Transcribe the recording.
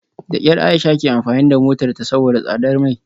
Da kyar Aisha ke amfani da motarta saboda tsadar mai